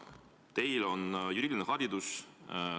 Teil on juriidiline haridus.